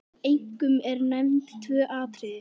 Einkum eru nefnd tvö atriði.